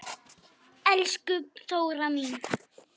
Elsku Þóra mín.